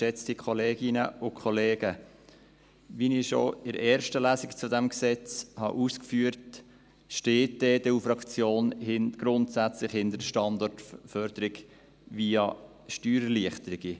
Wie ich schon in der ersten Lesung zu diesem Gesetz ausgeführt habe, steht die EDU-Fraktion grundsätzlich hinter der Standortförderung via Steuererleichterungen.